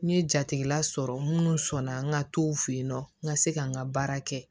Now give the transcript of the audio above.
N ye jatigila sɔrɔ minnu sɔnna n ka tow fe yen nɔ n ka se ka n ka baara kɛ